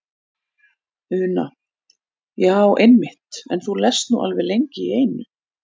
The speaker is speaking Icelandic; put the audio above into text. Una: Já einmitt en þú lestu þú alveg lengi í einu?